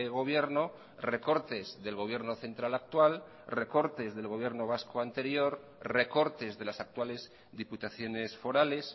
gobierno recortes del gobierno central actual recortes del gobierno vasco anterior recortes de las actuales diputaciones forales